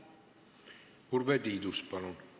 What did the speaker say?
Urve Tiidus, palun!